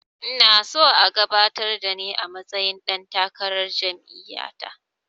Ina so a gabatar da ni a matsayin ɗan takarar jam'iya ta